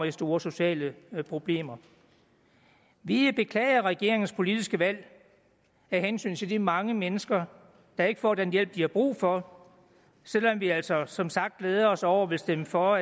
i store sociale problemer vi beklager regeringens politiske valg af hensyn til de mange mennesker der ikke får den hjælp de har brug for selv om vi altså som sagt glæder os over og vil stemme for